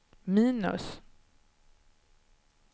minus